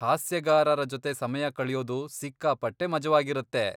ಹಾಸ್ಯಗಾರರ ಜೊತೆ ಸಮಯ ಕಳ್ಯೋದು ಸಿಕ್ಕಾಪಟ್ಟೆ ಮಜವಾಗಿರತ್ತೆ.